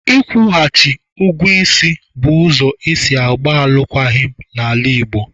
Ị kwụchaghị ngụ bụ ụzọ esi agba alụkwaghịm n'ala Igbo